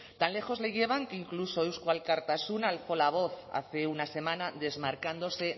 tan lejos le llevan que incluso eusko alkartasuna con la voz hace una semana desmarcándose